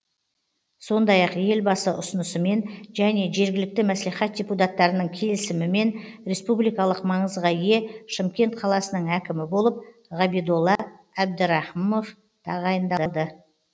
сондай ақ елбасы ұсынысымен және жергілікті мәслихат депутаттарының келісімімен республикалық маңызға ие шымкент қаласының әкімі болып ғабидолла әбідарахымов тағайындалды